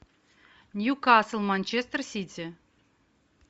ньюкасл манчестер сити